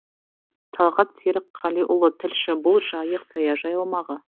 талғат серікқалиұлы тілші бұл жайық саяжай аумағы